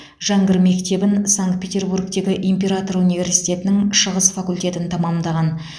жәңгір мектебін санкт петербургтегі император университетінің шығыс факультетін тәмамдаған